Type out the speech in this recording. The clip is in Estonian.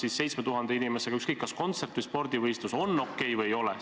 Kas 7000 inimesega kontsert või spordivõistlus on lubatud või ei ole?